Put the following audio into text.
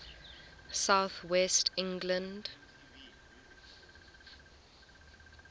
south west england